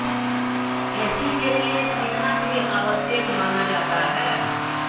AC के लिए सीखना भी आवश्यक माना जाता है